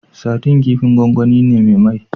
Sadin kifin gwangwani ne me mai